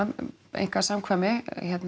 einkasamkvæmi